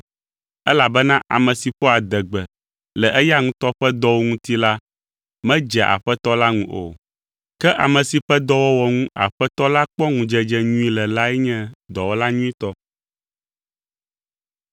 Elabena ame si ƒoa adegbe le eya ŋutɔ ƒe dɔwo ŋuti la medzea Aƒetɔ la ŋu o, ke ame si ƒe dɔwɔwɔ ŋu Aƒetɔ la kpɔ ŋudzedze nyui le lae nye dɔwɔla nyuitɔ.